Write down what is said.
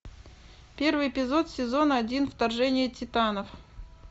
первый эпизод сезон один вторжение титанов